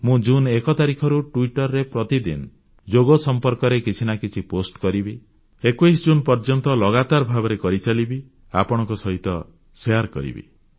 ମୁଁ ଜୁନ୍ 1 ତାରିଖରୁ ଟ୍ୱିଟର ରେ ପ୍ରତିଦିନ ଯୋଗ ସମ୍ପର୍କରେ କିଛି ନା କିଛି ପୋଷ୍ଟ କରିବି 21 ଜୁନ୍ ପର୍ଯ୍ୟନ୍ତ ଲଗାତାର ଭାବରେ କରିଚାଲିବି ଆପଣଙ୍କ ସହିତ ଶେୟାର କରିବି